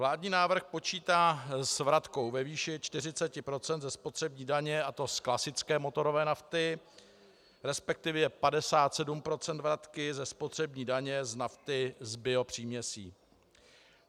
Vládní návrh počítá s vratkou ve výši 40 % ze spotřební daně, a to z klasické motorové nafty, respektive 57 % vratky ze spotřební daně z nafty s biopříměsí.